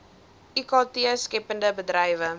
ikt skeppende bedrywe